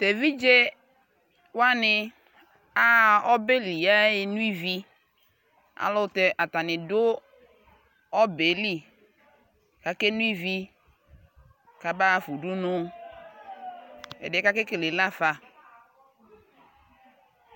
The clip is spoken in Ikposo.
Evidzewani aɣa ɔbɛli yaɣa nʋ ivi Ayʋɛlʋtɛ atani xʋ ɔbɛ yɛ lι kʋ akeno ivi kʋ abaɣafa udunu Ɛdι yɛ kʋ akekele lafa